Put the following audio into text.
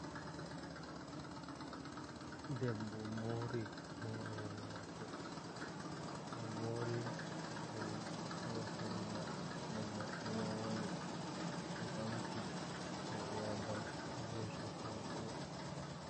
Debbo mori hore mako, o mori holla no mordi man woni, o ɓamti hore hadau o hosi hoto.